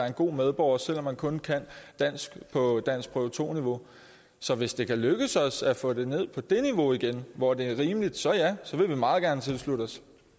en god medborger selv om man kun kan dansk på danskprøve to niveau så hvis det kan lykkes os at få det ned på det niveau igen hvor det er rimeligt så ja så vil vi meget gerne tilslutte